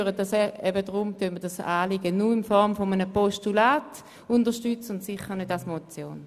Deshalb unterstützen wir dieses Anliegen nur in Form eines Postulats und sicher nicht als Motion.